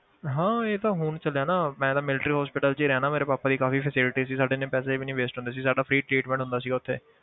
ਹਾਂ ਇਹ ਤਾਂ ਹੁਣ ਚੱਲਿਆ ਨਾ ਮੈਂ ਤਾਂ military hospital 'ਚ ਹੀ ਰਹਿਨਾ ਮੇਰੇ ਪਾਪਾ ਦੀ ਕਾਫ਼ੀ facility ਸੀ ਸਾਡੇ ਇੰਨੇ ਪੈਸੇ ਵੀ ਨੀ waste ਹੁੰਦੇ ਸੀ ਸਾਡਾ free treatment ਹੁੰਦਾ ਸੀ ਉੱਥੇ